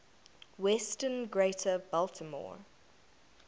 western greater baltimore